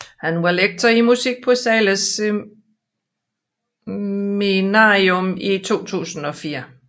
Han var lektor i musik på Zahles Seminarium til 2004